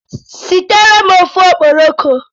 Sitere m ofe okporoko!